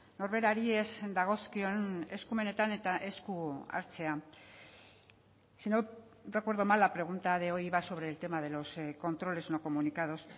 norberari ez dagozkion eskumenetan eta esku hartzea si no recuerdo mal la pregunta de hoy iba sobre el tema de los controles no comunicados